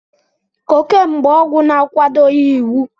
Cocaine bụ ọgwụ na-akwadoghị iwu.